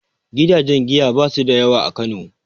Gidajen giya ba su da yawa a Kano